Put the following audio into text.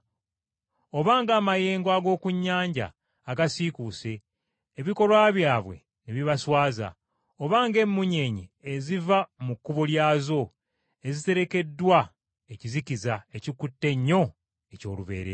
oba ng’amayengo ag’oku nnyanja agasiikuuse, ebikolwa byabwe ne bibaswaza; oba ng’emmunyeenye eziva mu kkubo lyazo, eziterekeddwa ekizikiza ekikutte ennyo eky’olubeerera.